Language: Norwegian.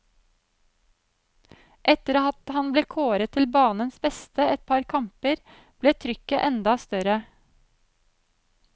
Etter at han ble kåret til banens beste et par kamper, ble trykket enda større.